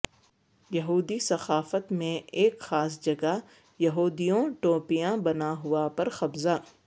یہودی ثقافت میں ایک خاص جگہ یہودیوں ٹوپیاں بنا ہوا پر قبضہ